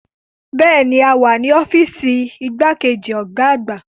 Bẹ́ẹ̀ni, a wà ní ọ́fíìsì igbákejì ọ̀gá àgbà.